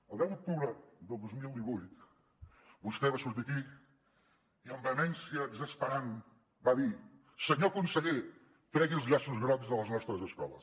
el deu d’octubre del dos mil divuit vostè va sortir aquí i amb vehemència exasperant va dir senyor conseller tregui els llaços grocs de les nostres escoles